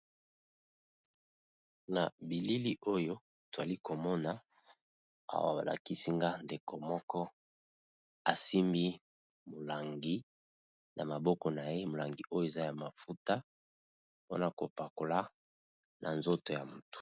Na bilili oyo twali komona, awa balakisi nga ndeko moko asimbi molangi na maboko na ye molangi oyo eza ya mafuta mpona kopakola na nzoto ya motu.